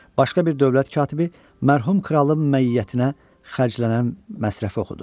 Başqa bir dövlət katibi mərhum kralın məiyyətinə xərclənən məsrəfi oxudu.